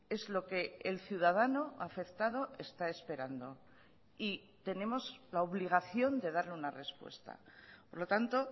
es lo que el ciudadano afectado está esperando y tenemos la obligación de darle una respuesta por lo tanto